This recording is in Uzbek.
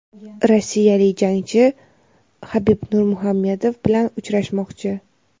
rossiyalik jangchi Habib Nurmuhamedov bilan uchrashmoqchi.